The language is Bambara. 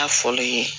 N'a fɔlen ye